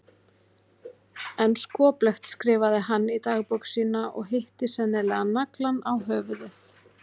En skoplegt skrifaði hann í dagbók sína og hitti sennilega naglann á höfuðið.